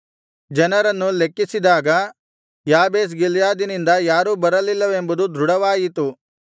ಜನರನ್ನು ಲೆಕ್ಕಿಸಿದಾಗ ಯಾಬೇಷ್ ಗಿಲ್ಯಾದಿನಿಂದ ಯಾರೂ ಬರಲಿಲ್ಲವೆಂಬುದು ದೃಢವಾಯಿತು